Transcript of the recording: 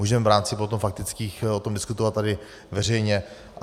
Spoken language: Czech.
Můžeme v rámci potom faktických o tom diskutovat tady veřejně.